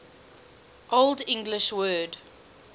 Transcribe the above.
old english word